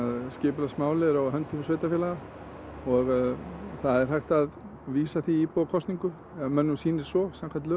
skipulagsmál eru á höndum sveitarfélaga og það er hægt að vísa því í íbúakosningu ef mönnum sýnist svo